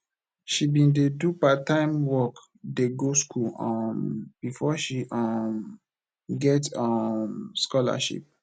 she bin dey do parttime work dey go skool um befor she um get um scholarship